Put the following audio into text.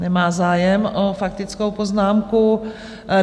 Nemá zájem o faktickou poznámku.